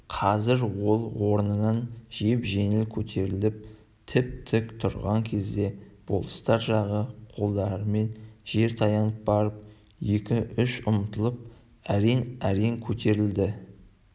қазір ол орнынан жеп-жеңіл көтеріліп тіп-тік тұрған кезде болыстар жағы қолдарымен жер таянып барып екі-үш ұмтылып әрең-әрең көтерілді